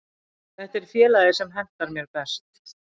Þetta er félagið sem hentar mér best.